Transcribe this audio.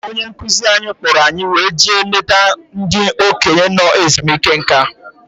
Onye nkuzi anyị kpọrọ anyị wee jee leta ndị okenye nọ ezumike nká.